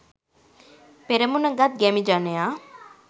පෙරමුණ ගත් ගැමි ජනයා